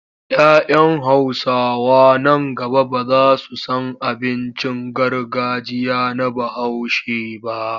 Ya 'yan Hausawa nan gaba ba za su san abincin gargajiya na Bahaushe ba.